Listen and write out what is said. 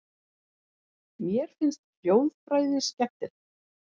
Mér finnst hljóðfræði skemmtileg.